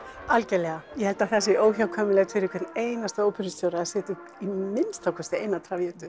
algjörlega ég held að það sé óhjákvæmilegt fyrir hvern einasta óperustjóra að setja upp að minnsta kosti eina